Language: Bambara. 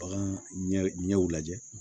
Bagan ɲɛw lajɛ